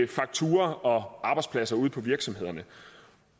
fakturaer og arbejdspladser ude på virksomhederne